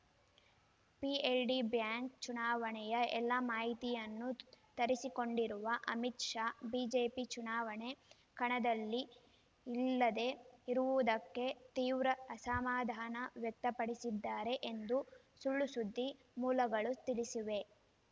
PLD bank ಚುನಾವಣೆಯ ಎಲ್ಲಾ ಮಾಹಿತಿಯನ್ನೂ ತರಿಸಿಕೊಂಡಿರುವ ಅಮಿತ್‌ ಶಾ ಬಿಜೆಪಿ ಚುನಾವಣೆ ಕಣದಲ್ಲಿ ಇಲ್ಲದೇ ಇರುವುದಕ್ಕೆ ತೀವ್ರ ಅಸಮಾಧಾನ ವ್ಯಕ್ತಪಡಿಸಿದ್ದಾರೆ ಎಂದು ಸುಳ್‌ಸುದ್ದಿ ಮೂಲಗಳು ತಿಳಿಸಿವೆ